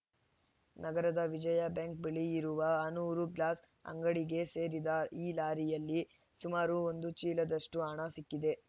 ನಗರದ ವಿಜಯ ಬ್ಯಾಂಕ್‌ ಬಳಿ ಇರುವ ಆನೂರು ಗ್ಲಾಸ್‌ ಅಂಗಡಿಗೆ ಸೇರಿದ ಈ ಲಾರಿಯಲ್ಲಿ ಸುಮಾರು ಒಂದು ಚೀಲದಷ್ಟುಹಣ ಸಿಕ್ಕಿದೆ